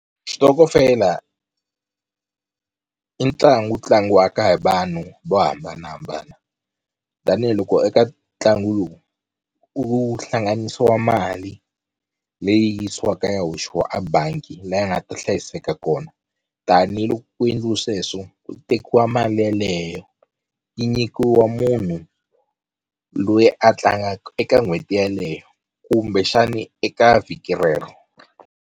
Xitokofela i ntlangu tlangiwaka hi vanhu vo hambanahambana tanihiloko eka ntlangu lowu u hlanganisiwa mali leyi yisiwaka yi ya hoxiwa a bangi la yi nga ta hlayiseka kona tanihiloko ku endliwe sweswo ku tekiwa mali yeleyo yi nyikiwa munhu loyi a tlangaka eka n'hweti yaleyo kumbexani eka vhiki rero.